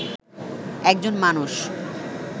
একজন মানুষ